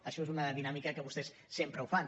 això és una dinàmica que vostès sempre fan